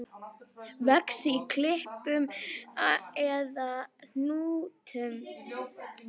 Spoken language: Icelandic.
Vex í knippum eða hnúðum.